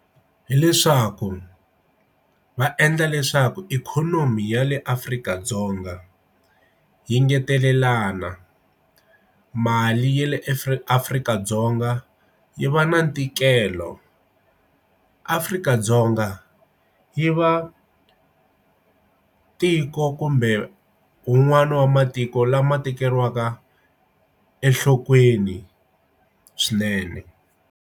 Hileswaku va endla leswaku ikhonomi ya le Afrika-Dzonga yi ngetelelana mali ya le Afrika Afrika-Dzonga yi va na ntikelo Afrika-Dzonga yi va tiko kumbe un'wana wa matiko lama tekeriwaka enhlokweni swinene.